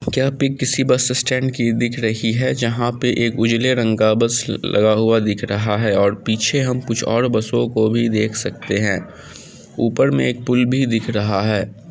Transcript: क्या पिक किसी bus stand की दिख रही है जहाँ पर एक उजले रंग का बस लगा हुआ दिख रहा है और पीछे हम और बसों को देख सकते हैं ऊपर में एक पुल भी दिख रहा है।